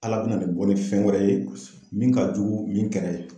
ALA bina nin bɔ ni fɛn wɛrɛ ye min ka jugu ni min kɛra ye.